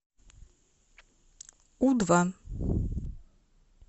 у два